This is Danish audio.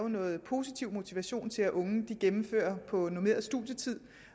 noget positiv motivation til at unge gennemfører på normeret studietid